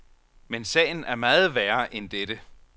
Men sagen er meget værre end dette.